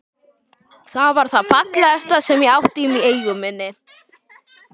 Það var það fallegasta sem ég átti í eigu minni.